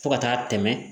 Fo ka taa tɛmɛ